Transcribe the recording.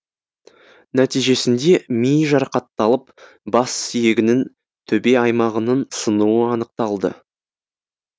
нәтижесінде миы жарақатталып бас сүйегінің төбе аймағының сынуы анықталды